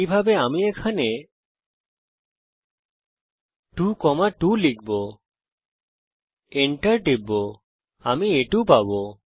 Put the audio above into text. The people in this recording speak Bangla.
একইভাবে আমি এখানে 22 লিখব এবং এন্টার টিপব আমি আ2 পাবো